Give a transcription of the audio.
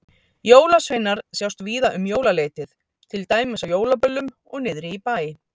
Jólasveinar sjást víða um jólaleytið, til dæmis á jólaböllum og niðri í bæ.